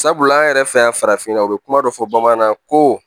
Sabula an yɛrɛ fɛ yan farafinna u be kuma dɔ fɔ bamanankan na ko